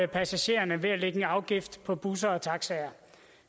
passagererne ved at lægge en afgift på busser og taxaer